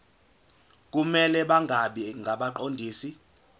kumele bangabi ngabaqondisi